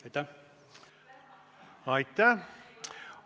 Aitäh!